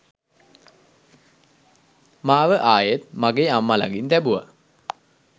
මාව ආයෙත් මගේ අම්මා ලඟින් තැබුවා